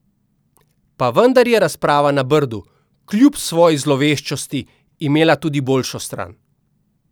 Pa vendar je razprava na Brdu, kljub svoji zloveščosti, imela tudi boljšo stran.